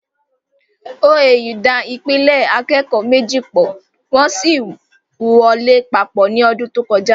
OAU da ìpele akẹ́kọ̀ọ́ méjì pọ̀, wọ́n sì wọ lé papọ̀ ní ọdún tó kọjá